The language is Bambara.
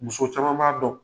Muso caman b'a dɔn.